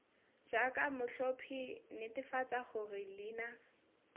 jaaka motlhophi netefatsa gore leina